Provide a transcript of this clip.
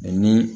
ni